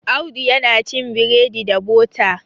Audu yana cin bredi da bota